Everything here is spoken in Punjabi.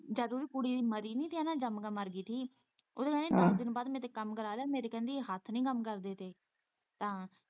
ਜਦ ਉਹਦੀ ਕੁੜੀ ਮਰੀ ਨੀ ਤੇ ਹੈਨਾ ਜੰਮ ਕੇ ਮਰ ਗਈ ਸੀ ਉੱਦੋਂ ਕਹਿੰਦੀ ਦੱਸ ਦਿਨਾਂ ਬਾਅਦ ਮੇਰੇ ਤੋਂ ਕੰਮ ਕਰਵਾ ਲਿਆ ਮੇਰੇ ਕਹਿੰਦੀ ਹੱਥ ਨੀ ਕੰੰਮ ਕਰਦੇ ਪਏ ਤਾਂ।